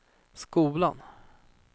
skolan